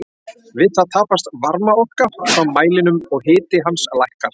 Við það tapast varmaorka frá mælinum og hiti hans lækkar.